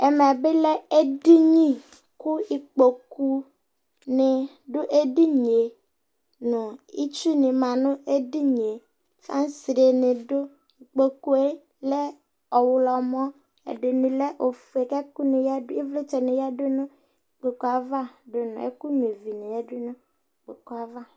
ɛmɛ bi lɛ edini kò ikpoku ni do edinie no itsu ni ma no edinie fansre ni do ikpokue lɛ ɔwlɔmɔ ɛdini lɛ ofue k'ɛkò ni yadu ivlitsɛ ni yadu no ikpokue ava do no ɛkò nyua ivi ni yadu n'ikpokue ava